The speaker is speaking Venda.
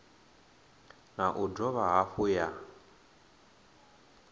na u dovha hafhu ya